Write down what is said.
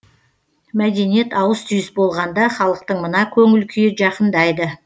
мәдениет ауыс түйіс болғанда халықтың мына көңіл күйі жақындайды